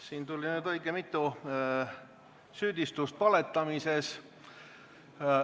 Siin tuli nüüd õige mitu süüdistust valetamises.